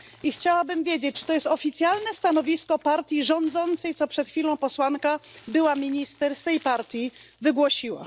Chciałabym wiedzieć, czy to jest oficjalne stanowisko partii rządzącej, które przed chwilą posłanka, była minister z tej partii, wygłosiła?